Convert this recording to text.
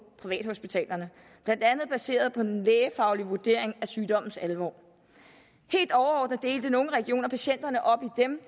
privathospitalerne blandt andet baseret på den lægefaglige vurdering af sygdommens alvor helt overordnet delte nogle regioner patienterne op i dem